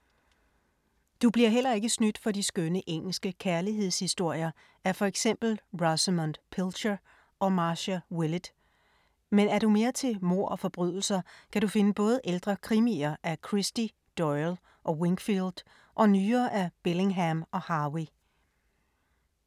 Du bliver heller ikke snydt for de skønne engelske kærlighedshistorier af for eksempel Rosemunde Pilcher og Marcia Willett. Men er du mere til mord og forbrydelser, kan du finde både ældre krimier af Christie, Doyle og Wingfield og nyere af Billingham og Harvey.